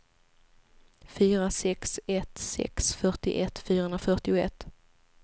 fyra sex ett sex fyrtioett fyrahundrafyrtioett